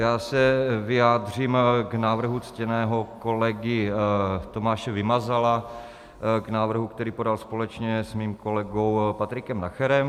Já se vyjádřím k návrhu ctěného kolegy Tomáše Vymazala, k návrhu, který podal společně s mým kolegou Patrikem Nacherem.